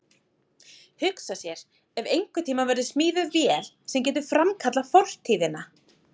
Hugsa sér ef einhvern tíma verður smíðuð vél sem getur framkallað fortíðina.